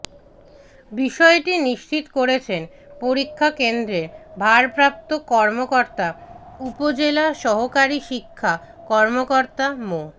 বিষয়টি নিশ্চিত করেছেন পরীক্ষা কেন্দ্রের ভারপ্রাপ্ত কর্মকর্তা উপজেলা সহকারী শিক্ষা কর্মকর্তা মো